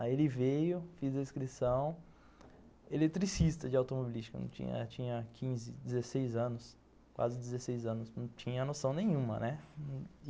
Aí ele veio, fiz a inscrição, eletricista de automobilística, tinha quinze, dezesseis anos, quase dezesseis anos, não tinha noção nenhuma, né?